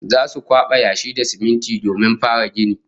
Zasu kwaba yashi da siminti domin fara ginin